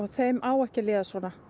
þeim á ekki að líða svona